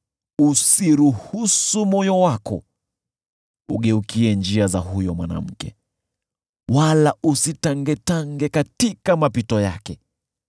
Usiruhusu moyo wako ugeukie njia za huyo mwanamke, wala usitangetange katika mapito yake.